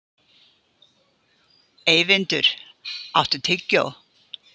Eyvindur, áttu tyggjó?